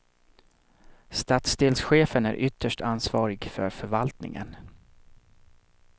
Stadsdelschefen är ytterst ansvarig för förvaltningen.